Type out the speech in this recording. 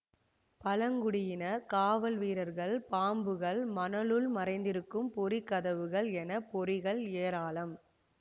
பழங்குடியினர் காவல் வீரர்கள் பாம்புகள் மணலுள் மறைந்திருக்கும் பொறி கதவுகள் என பொறிகள் ஏராளம்